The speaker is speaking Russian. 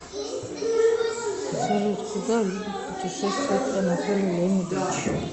салют куда любит путешествовать анатолий леонидович